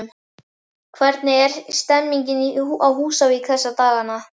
Hvernig er stemningin á Húsavík þessa dagana?